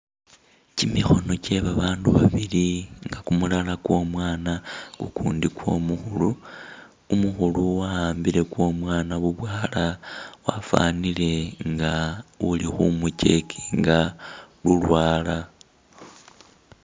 Kyimikhono kyebabandu babili nga kumulala kwo'mwana ukundi kwo'mukhulu umukhulu waambile kwo'mwana bubwala wafanile nga uli khumu' checkinga lulwala